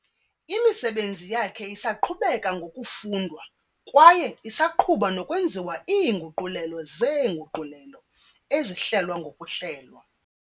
Imisebenzi yakhe isaqhubeka ngokufundwa kwaye isaqhuba nokwenziwa iinguqulelo zeenguqulelo, ezihlelwa ngokuhlelwa.